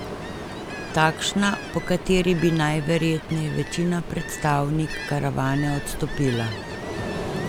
Takšna po kateri bi najverjetneje večina predstavnik karavane odstopila.